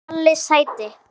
Palli sæti!!